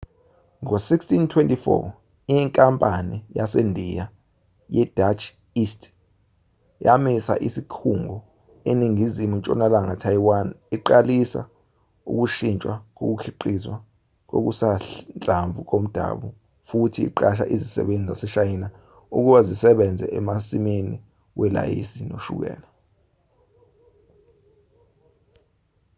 ngo1624,inkampani yasendiya yedutch east yamisa isikhungo eningizimu ntshonalanga taiwan iqalisa ukushintshwa kokukhiqizwa kokusanhlamvu komdabu futhi iqasha izisebenzi zaseshayina ukuba zisebenze emasimini welayisi noshukela